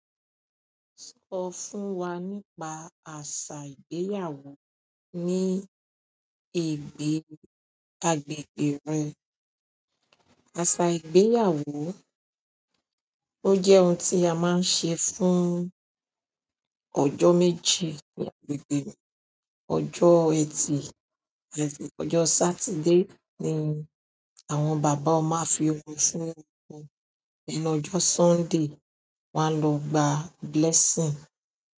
Sọ fún wa nípa àṣà ìgbéyàwó ní èìgbẹ̀ agbègbè rẹ. Àṣà ìgbéyàwó, ó jẹ́ ohun tí a máa ń ṣe fún ọjọ́ méjì ní agbègbè mi. Ọjọ́ Ẹtì àti ọjọ́ Saturday ni àwọn bàbá máa fi ọmọ fún ọkọ, ní ọjọ́ Sunday wọn a lọ gba blessing.